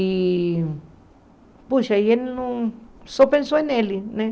E, puxa, e ele não só pensou nele, né?